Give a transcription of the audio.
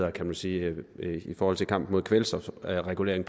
er kan man sige i forhold til kampen mod kvælstofsregulering